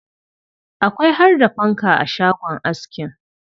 Akwai har da fanka a shagon askin.